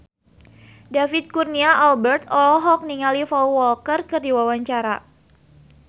David Kurnia Albert olohok ningali Paul Walker keur diwawancara